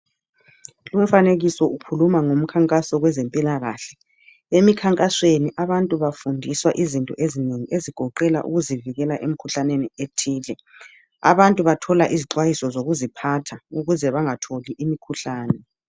Lumfanekiso ukhuluma ngomkhankaso kwezempilakahle. Emikhankasweni abantu bafundiswa izinto ezinengi ezigoqela ukuzivikela emkhuhlaneni ethile. Abantu bathola izixwayiso zokuziphatha ukuze bangatholi imikhuhlane.